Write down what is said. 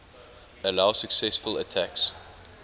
allow successful attacks